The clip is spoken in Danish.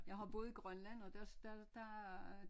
Jeg har boet i Grønland og der der øh